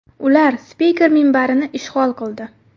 Ular spiker minbarini ishg‘ol qildi.